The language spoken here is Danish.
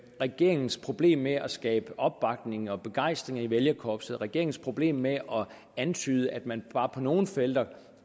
regeringens problem med at skabe opbakning og begejstring i vælgerkorpset regeringens problem med at antyde at man bare på nogle felter